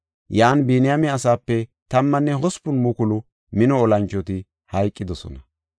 Yan Biniyaame asaape tammanne hospun mukulu mino olanchoti hayqidosona;